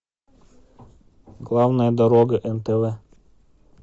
главная дорога нтв